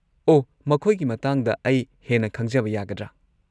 ꯑꯣꯍ, ꯃꯈꯣꯏꯒꯤ ꯃꯇꯥꯡꯗ ꯑꯩ ꯍꯦꯟꯅ ꯈꯪꯖꯕ ꯌꯥꯒꯗ꯭ꯔꯥ?